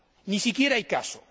ni siquiera hay caso.